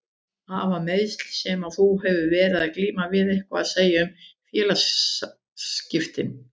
Hafa meiðslin sem að þú hefur verið að glíma við eitthvað að segja um félagsskiptin?